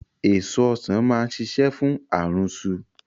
Èso Ọ̀sán máa ṣiṣẹ́ fún àrùnsu